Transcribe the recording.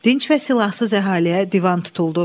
Dinc və silahsız əhaliyə divan tutuldu.